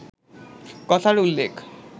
কথার উল্লেখ